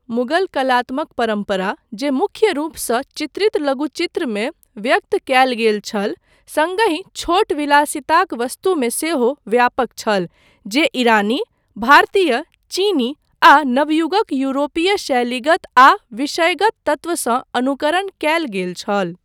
मुगल कलात्मक परम्परा, जे मुख्य रूपसँ चित्रित लघुचित्रमे व्यक्त कयल गेल छल, सङ्गहि छोट विलासिताक वस्तुमे सेहो व्यापक छल, जे ईरानी, भारतीय, चीनी आ नवयुगक यूरोपीय शैलीगत आ विषयगत तत्वसँ अनुकरण कयल गेल छल।